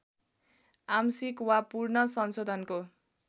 आंशिक वा पूर्ण संशोधनको